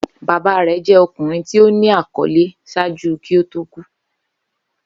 Baba rẹ jẹ ọkunrin ti o ni akọle ṣaaju ki o to ku